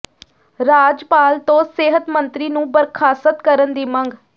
ਰਾਜਪਾਲ ਤੋਂ ਸਿਹਤ ਮੰਤਰੀ ਨੂੰ ਬਰਖ਼ਾਸਤ ਕਰਨ ਦੀ ਮੰਗ